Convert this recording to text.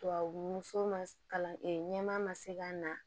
Tubabu sun ma ɲɛma ma se ka na